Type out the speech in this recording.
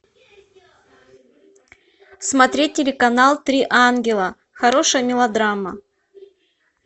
смотреть телеканал три ангела хорошая мелодрама